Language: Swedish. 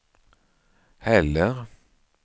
heller